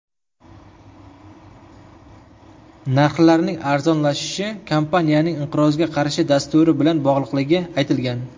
Narxlarning arzonlashishi kompaniyaning inqirozga qarshi dasturi bilan bog‘liqligi aytilgan.